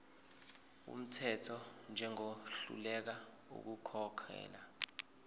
wumthetho njengohluleka ukukhokhela